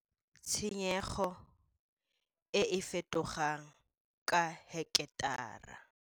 Tshenyego e e fetogang ka heketara.